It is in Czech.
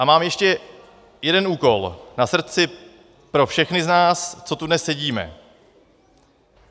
A mám ještě jeden úkol na srdci pro všechny z nás, co tu dnes sedíme.